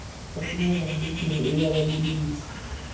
bafikela endodeni eyababulisa